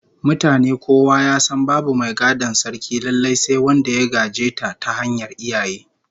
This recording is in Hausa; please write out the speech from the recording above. Mutane kowa ya san babu mai gadon Sarkin lallai sai wanda ya gaje ta ta hanyar iyaye